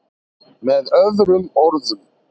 með öðrum orðum